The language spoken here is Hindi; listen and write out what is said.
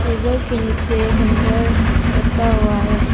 टेबल के नीचे हैंगर लटका हुआ है।